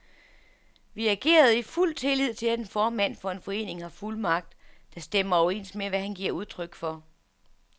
Vi agerede i fuld tillid til, at en formand for en forening har fuldmagt, der stemmer overens med, hvad han giver udtryk for.